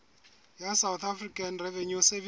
ya south african revenue service